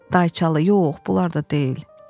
Dayçalı, yox, bunlar da deyil.